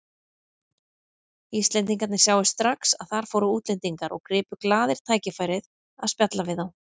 Íslendingarnir sáu strax að þar fóru útlendingar og gripu glaðir tækifærið að spjalla við þá.